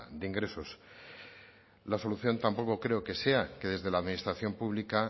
de ingresos la solución tampoco creo que sea que desde la administración pública